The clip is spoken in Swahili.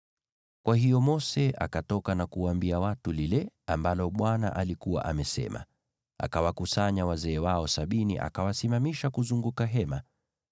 Kwa hiyo Mose akatoka na kuwaambia watu lile ambalo Bwana alikuwa amesema. Akawakusanya wazee wao sabini, akawasimamisha kuzunguka Hema.